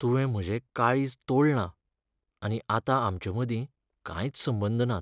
तुवें म्हजें काळीज तोडलां, आनी आतां आमचें मदीं कांयच संबंद नात.